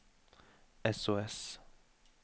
sos